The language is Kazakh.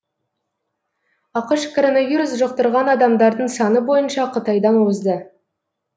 ақш коронавирус жұқтырған адамдардың саны бойынша қытайдан озды